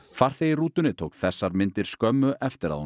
farþegi í rútunni tók þessar myndir skömmu eftir að